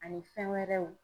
Ani fɛn wɛrɛw.